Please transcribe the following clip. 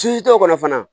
t'o kɔnɔ fana